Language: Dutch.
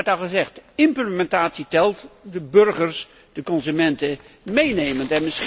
Er werd al gezegd implementatie telt, de burgers, de consumenten meenemend.